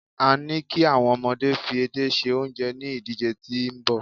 a ni ki awon omode fi edé se onje ni idije ti nbọ